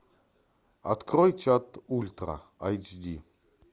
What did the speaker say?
открой чат ультра айч ди